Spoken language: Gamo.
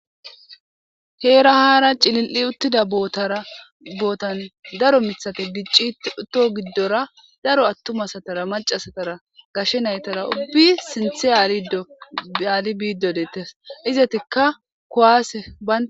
Hera haara cilil7i uttida bootara bootan daro mithate diccito giddora daro attumasatara macasatara gashe naytara ubbi sinthe aaido baali biiddodettes izatikka kowaase ban